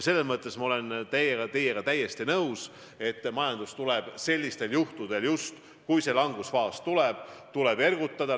Ma olen teiega täiesti nõus, et majandust tuleb siis, kui langusfaas tekib, ergutada.